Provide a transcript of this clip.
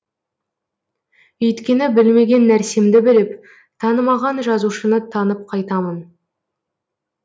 өйткені білмеген нәрсемді біліп танымаған жазушыны танып қайтамын